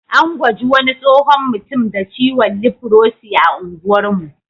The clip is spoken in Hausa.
An gwaji wani tsohon mutum da ciwon lifrosi a unguwar mu.